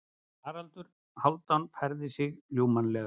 Haraldur Hálfdán færði sig ljúfmannlega.